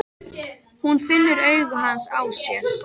Hún finnur augu hans á sér.